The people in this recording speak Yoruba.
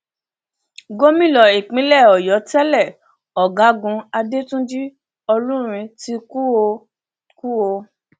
gómìnà ìpínlẹ ọyọ tẹlẹ ọgágun adẹtúnjì olúrin ti kú o kú o